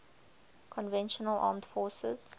conventional armed forces